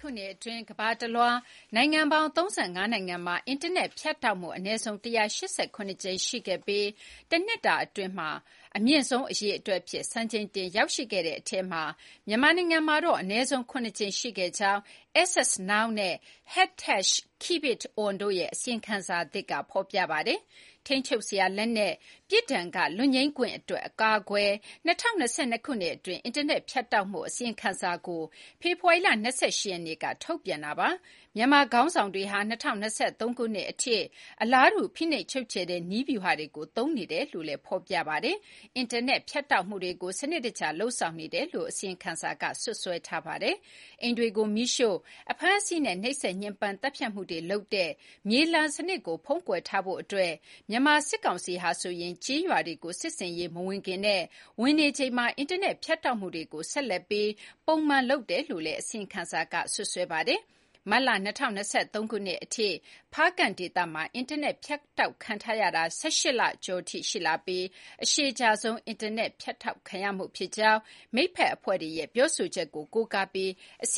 ခုနှစ်အတွင်း ကမ္ဘာတလွှား နိုင်ငံပေါင်း ၃၅ နိုင်ငံမှာ အင်တာနက်ဖြတ်တောက်မှု အနည်းဆုံး ၁၈၇ ကြိမ်ရှိခဲ့ပြီး တနှစ်အတွင်း အမြင့်ဆုံးအရေအတွက်အဖြစ် စံချိန်တင်ရောက်ရှိခဲ့တဲ့ထဲမှာ မြန်မာနိုင်ငံမှာတော့ အနည်းဆုံး ၇ ကြိမ်ရှိခဲ့ကြောင်း Access Now နဲ့ #KeepItOn တို့ရဲ့ အစီရင်ခံစာသစ်က ဖော်ပြပါတယ်။ ထိန်းချုပ်စရာလက်နက်၊ ပြစ်ဒဏ်က လွတ်ငြိမ်းခွင့်အတွက် အကာအကွယ်၊ ၂၀၂၂ ခုနှစ် အတွင်း အင်တာနက် ဖြတ်တောက်မှု အစီရင်ခံစာကို ဖေဖော်ဝါရီလ ၂၈ ရက်နေ့က ထုတ်ပြန်တာ ဖြစ်ပါတယ်။ မြန်မာခေါင်းဆောင်တွေဟာ ၂၀၂၃ ခုနှစ်အထိ အလားတူ ဖိနှိပ်ချုပ်ချယ်တဲ့ နည်းဗျူဟာတွေကို သုံးနေကြတယ်လို့လည်းဖော်ပြပါတယ်။ အင်တာနက် ဖြတ်တောက်မှုတွေကို စနစ်တကျလုပ်ဆောင်နေတယ်လို့လည်း အစီရင်ခံစာက စွပ်စွဲထားပါတယ်။ အိမ်တွေကို မီးရှို့၊ အဖမ်းအဆီးနဲ့ နှိပ်စက်ညှဉ်းပန်း သတ်ဖြတ်မှုတွေလုပ်တဲ့ မြေလှန်စနစ်ကို ဖုံးကွယ်ထားဖို့အတွက် မြန်မာစစ်ကောင်စီဟာ ကျေးရွာတွေကို စစ်ဆင်ရေးမဝင်ခင်မှာနဲ့ ဝင်နေချိန်မှာ အင်တာနက်ဖြတ်တောက်မှုတွေကို ဆက်လက်ပြီး ပုံမှန်လုပ်နေတယ်လို့လည်း အစီရင်ခံစာက စွပ်စွဲပါတယ်။ မတ်လ ၂၀၂၃ ခုနှစ်အထိ ဖားကန့်ဒေသမှာ အင်တာနက် ဖြတ်တောက်ခံနေရတာ ၁၈ လကျော်ကြာထိ ရှိလာပြီး အရှည်ကြာဆုံး အင်တာနက် ဖြတ်တောက်ခံရမှုဖြစ်ကြောင်း မိတ်ဖက်အဖွဲ့တွေရဲ့ ပြောဆိုချက်ကို ကိုးကားပြီး အစ